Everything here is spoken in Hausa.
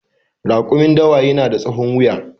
Rakumin dawa yana da tsahon wuya